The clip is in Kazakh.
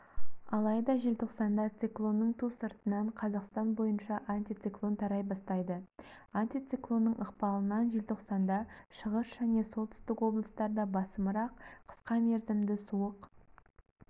алайда желтоқсанда циклонның ту сыртынан қазақстан бойынша антициклон тарай бастайды антициклонның ықпалынан желтоқсанда шығыс және солтүстік облыстарда басымырақ қысқа мерзімді суық